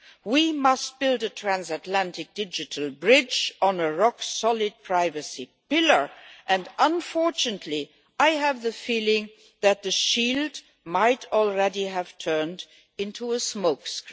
We must build a transatlantic digital bridge on a rock solid privacy pillar and unfortunately, I have the feeling that the shield might already have turned into a smokescreen.